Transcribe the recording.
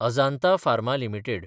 Ajanta pharma limited